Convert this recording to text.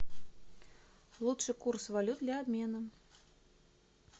лучший курс валют для обмена